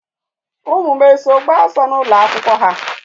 Ụmụ m eso gbaa ọsọ n'ụlọ akwụkwọ ha?